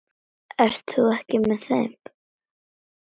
Ert þú ekki með þeim?